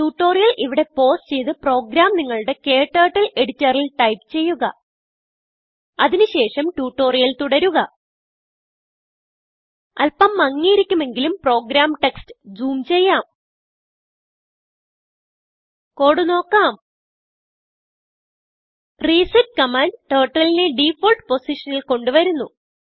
tutorial ഇവിടെ pause ചെയ്ത് program നിങ്ങളുടെ ക്ടർട്ടിൽ എഡിറ്ററിൽ ടൈപ്പ് ചെയ്യുക അതിന് ശേഷം ട്യൂട്ടോറിയൽ തുടരുക അല്പം മങ്ങിയിരിക്കുമെങ്കിലും പ്രോഗ്രാം ടെക്സ്റ്റ് ജൂം ചെയ്യാം കോഡ് നോക്കാം റിസെറ്റ് കമാൻഡ് Turtleനെ ഡിഫോൾട്ട് പൊസിഷനിൽ കൊണ്ട് വരുന്നു